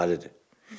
Və verilməlidir.